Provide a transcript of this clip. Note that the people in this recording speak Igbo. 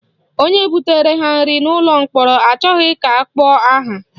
Onye butere ha nri n'ụlọ mkpọrọ achọghị ka akpọọ aha